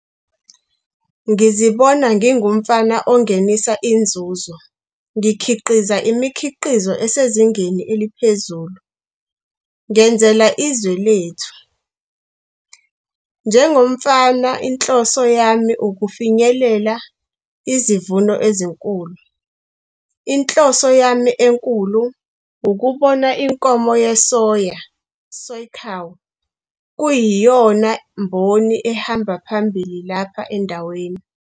Ngizibona ngingumfama ongenisa inzuzo ngikhiqiza imikhiqizo esezingeni eliphezulu ngenzela izwe lethu. Njengomfama inhloso yami ukufinyelela izivuno ezinkulu. Inhloso yami enkulu ukubona inkomo yesoya, soy cow, kuyiyona mboni ehamba phambili lapha endaweni.